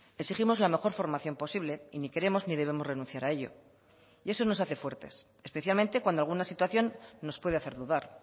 exigimos la mejor formación posible y ni queremos ni debemos renunciar a ello y eso nos hace fuertes especialmente cuando alguna situación nos puede hacer dudar